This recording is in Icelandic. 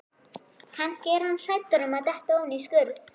Kannski er hann hræddur um að detta ofan í skurð.